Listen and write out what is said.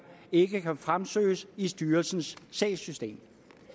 ikke kan fremsøges i styrelsens sagssystem